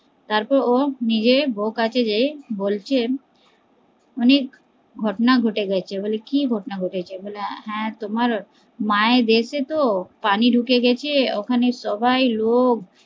তারপর ও নিজের বৌ কাছে গিয়ে বলছে অনেক ঘটনা ঘটে গেছে, বলে কি ঘটনা ঘটেছে বলে হ্যা তোমার মায়ের এই তে পানি ঢুকে গেছে ওখানে সবাই লোক